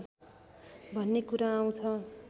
भन्ने कुरा आउँछ